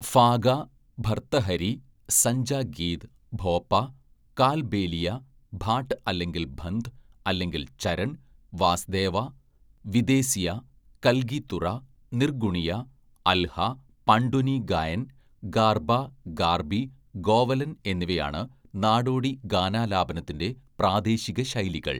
ഫാഗ, ഭര്‍ത്തഹരി , സഞ്ജാ ഗീത്, ഭോപ, കാൽബേലിയ, ഭാട് അല്ലെങ്കിൽ ഭന്ദ് അല്ലെങ്കിൽ ചരൺ, വാസ്ദേവ, വിദേസിയാ, കൽഗീ തുറ, നിർഗുണിയ, അൽഹ, പാണ്ഡ്വനീ ഗായൻ, ഗാർബ ഗാർബി ഗോവലൻ എന്നിവയാണ് നാടോടി ഗാനാലാപനത്തിന്‍റെ പ്രാദേശിക ശൈലികൾ.